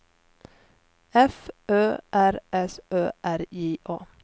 F Ö R S Ö R J A